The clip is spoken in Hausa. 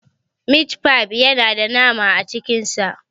Mit fi yana da nama a cikin sa.